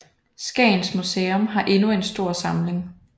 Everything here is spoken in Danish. Skagens Museum har endnu en stor samling